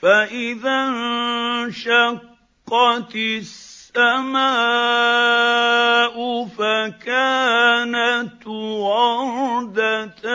فَإِذَا انشَقَّتِ السَّمَاءُ فَكَانَتْ وَرْدَةً